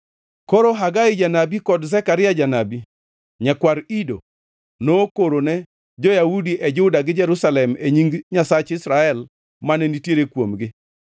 Koro Hagai janabi kod Zekaria janabi, nyakwar Ido, nokorone jo-Yahudi e Juda gi Jerusalem e nying Nyasach Israel, mane nitiere kuomgi.